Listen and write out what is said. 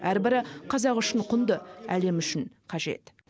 әр бірі қазақ үшін құнды әлем үшін қажет